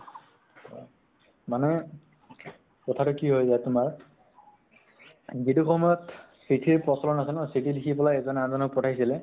অহ মানে কথাটো কি হৈ যায় তোমাৰ যিটো সময়ত চিঠিৰ প্ৰচলন আছে ন চিঠি লিখি পলাই এজনে আন জনক পঠাইছিলে